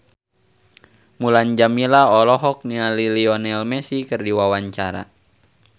Mulan Jameela olohok ningali Lionel Messi keur diwawancara